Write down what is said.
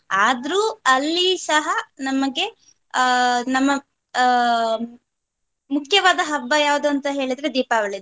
ಆದ್ರೂ ಅಲ್ಲಿ ಸಹ ನಮಗೆ ಅಹ್ ನಮ್ಮ ಅಹ್ ಮುಖ್ಯವಾದ ಹಬ್ಬ ಯಾವುದು ಅಂತ ಹೇಳಿದ್ರೆ ದೀಪಾವಳಿ.